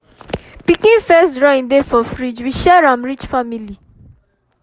pikin first drawing dey for fridge we share m reach family